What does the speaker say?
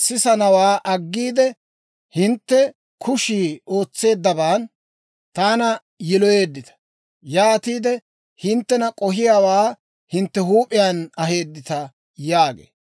sisanawaa aggiide, hintte kushii ootseeddabaan taana yiloyeeddita; yaatiide hinttena k'ohiyaawaa hintte huup'iyaan aheeddita› yaagee.